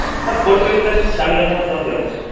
but fourth semester চালু যখন হবে তখন যাবো